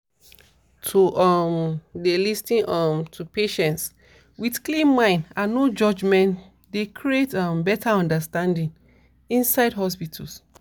to um dey lis ten um to patients with clean mind and no judgement dey create um better understanding inside hospitals